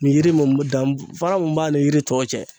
N'i yiri mun be danfara mun b'a ni yiri tɔw cɛ